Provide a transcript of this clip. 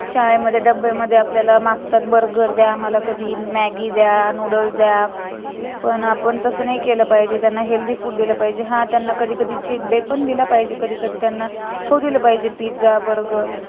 शाळेमध्ये डब्यामध्ये आपल्याला मागतात burger द्या मला कधी maggie द्या नूडल्स द्या पण आपण तस नाही केलं पाहिजे त्यांना healthy food दिलं पाहिजे हा कधी कधी त्यांना treat day पण दिला पाहिजे कधी कधी त्यांना खाऊ दिल पाहिजे pizza burger